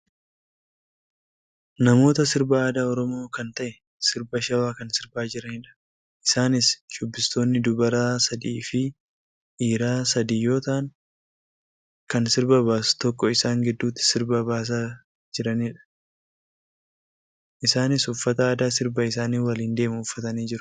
Namoota sirba aadaa oromoo kan ta'e sirba shawaa kan sirbaa jiranidha. Isaanis shubbistoonni dubara sadiifi dhiira sadii yoo ta'an, kan sirba baasu tokko isaan gidduutti sirba baasaafi jiranidha. Isaanis uffata aadaa sirba isaanii waliin deemu uffatanii jiru.